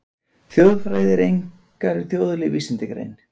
Þjóðfræði er einkar þjóðleg vísindagrein.